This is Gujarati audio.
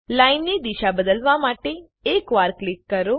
લાઈનની દિશા બદલવા માટે એક વાર ક્લિક કરો